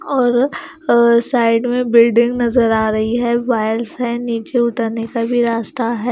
और साइड में बिल्डिंग नजर आ रही है वाल्स है नीचे उतरने का भी रास्ता है।